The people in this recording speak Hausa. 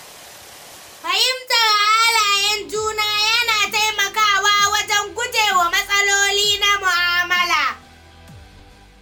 Fahimtar halayen juna yana taimakawa wajen guje wa matsaloli na mu'amala.